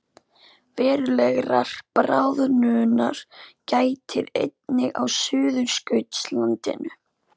Verulegrar bráðnunar gætir einnig á Suðurskautslandinu